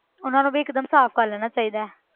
ਉਹਨਾਂ ਨੂੰ ਵੀ ਇੱਕ ਦਮ ਸਾਫ਼ ਕਰ ਲੈਣਾ ਚਾਹੀਦਾ ਹੈ।